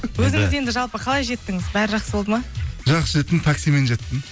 өзіңіз енді жалпы қалай жеттіңіз бәрі жақсы болды ма жақсы жеттім таксимен жеттім